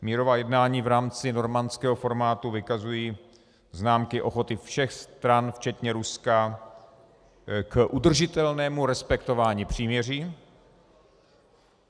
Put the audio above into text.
Mírová jednání v rámci normandského formátu vykazují známky ochoty všech stran včetně Ruska k udržitelnému respektování příměří.